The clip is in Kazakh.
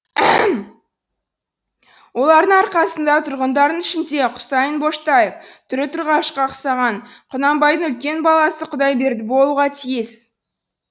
олардың арқасында тұрғандардың ішінде құсайын боштаев түрі тұрғашқа ұқсаған құнанбайдың үлкен баласы құдайберді болуға тиіс